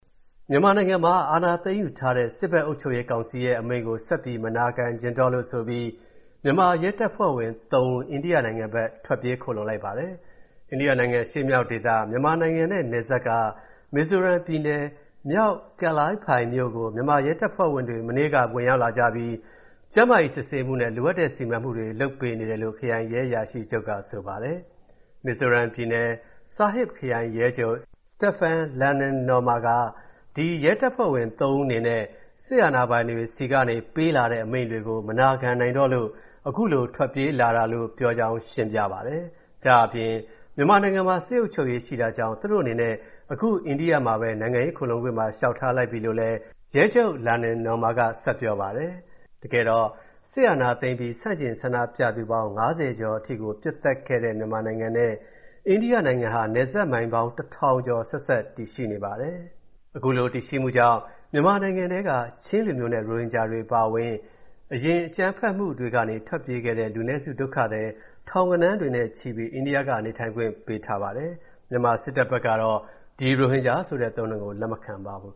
မြန်မာနိုင်ငံမှာ အာဏာသိမ်းယူထားတဲ့ စစ်ဘက်အုပ်ချုပ်ရေးကောင်စီရဲ့ အမိန့်ကို ဆက်ပြီး မနာခံချင်တော့လို့ဆိုပြီး မြန်မာ ရဲတပ်ဖွဲ့ဝင်သုံးဦး အိန္ဒိယနိုင်ငံဘက် ထွက်ပြေး ခိုလှုံလိုက်ပါတယ်။ အိန္ဒိယနိုင်ငံ အရှေ့မြောက်ဒေသ၊ မြန်မာနိုင်ငံနဲ့နယ်စပ်က မီဇိုရမ်ပြည်နယ်၊ မြောက် Vanlaiphai မြို့ကို မြန်မာရဲတပ်ဖွဲ့ဝင်တွေ မနေ့က ဝင်ရောက်လာကြပြီး ကျန်းမာရေးစစ်ဆေးမူနဲ့ လိုအပ်တဲ့ စီမံပေးမှုတွေ လုပ်ပေးနေတယ်လို့ ခရိုင်ရဲအရာရှိချုပ်က ဆိုပါတယ်။ မီဇိုရမ်ပြည်နယ်၊ Serchhip ခရိုင် ရဲချုပ် Stephen Lalninawma က ဒီရဲတပ်ဖွဲ့ဝင် ၃ ဦးအနေနဲ့ စစ်အာဏာပိုင်တွေဆီကနေ ပေးလာတဲ့ အမိန့်တွေကို မနာခံနိုင်တော့လို့ အခုလိုထွက်ပြေးလာတာလို့ ပြောကြောင်းရှင်းပြပါတယ်။ ဒါ့အပြင် မြန်မာနိုင်ငံမှာ စစ်အုပ်ချုပ်ရေးရှိနေတာကြောင့် သူတို့အနေနဲ့ အခု အိန္ဒိယမှာပဲ နိုင်ငငံရေး ခိုလှုံခွင့်ပါ လျှောက်ထားလိုက်ပြီလို့လည်း ရဲချုပ် Lalninawma က ဆက်ပြောပါတယ်။ စစ်အာဏာသိမ်းအပြီး ဆန့်ကျင်ဆန္ဒပြသူပေါင်း ၅၀ ကျော်အထိ ပစ်သတ်ခံခဲ့ရတဲ့ မြန်မာနိုင်ငံနဲ့ အိန္ဒိယနိုင်ငံဟာ နယ်စပ်မိုင်ပေါင်း ၁,၀၀၀ ကျော် ဆက်စပ်တည်ရှိနေပါတယ်။ အခုလိုတည်ရှိမှုကြောင့် မြန်မာနိုင်ငံက ချင်းလူမျိုးနဲ့ ရိုဟင်ဂျာတွေအပါအဝင် အရင်အကြမ်းဖက်မှုတွေကနေ ထွက်ပြေးခဲ့တဲ့ လူနည်းစုဒုက္ခသည် ထောင်ဂဏန်းနဲ့ချီပြီး အိန္ဒိယက နေထိုင်ခွင့်ပေးထားပါတယ်။ မြန်မာစစ်တပ်ကတော့ ဒီ ရိုဟင်ဂျာဆိုတဲ့ အသုံးအနှုန်းကို လက်မခံပါဘူး